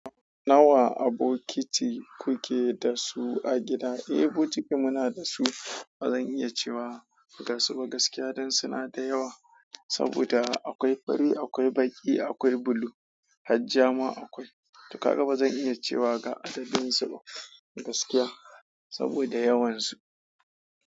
Nawa abokiti kuke dasu a gida? Eh bokiti muna dasu, bazan iya cewa gasu ba gaskiya dan suna da yawa. Saboda akwai fari, akwai baki, akwai bulu, har ja ma akwai. To haka bazan iya cewa ga adadin su ba gaskiya, saboda yawan su.